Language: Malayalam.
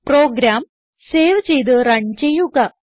പ്രോഗ്രാം സേവ് ചെയ്ത് റൺ ചെയ്യുക